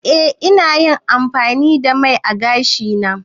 Eh na yi amfani da mai ã gashi na.